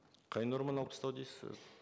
қай норманы алып тастау дейсіз сіз